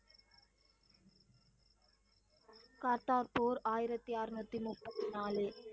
கார்த்தார் போர் ஆயிரத்தி அரனுத்தி நுப்பத்தி நாலு.